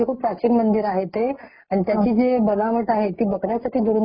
आणखी काही त्याच्याबद्दल सांगू शकाल तुम्ही रामटेक बद्दल . आणखी काही